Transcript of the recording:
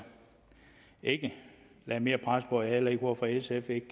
ikke lagde mere pres på og heller ikke hvorfor sf ikke